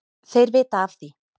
Þeir vita af því,